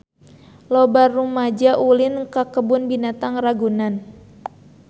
Loba rumaja ulin ka Kebun Binatang Ragunan